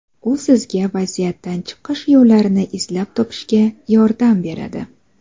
U sizga vaziyatdan chiqish yo‘llarini izlab topishga yordam beradi.